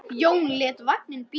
Jón lét vagninn bíða sín.